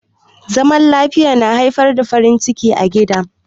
Zaman lafiya na haifar da farin ciki a gida.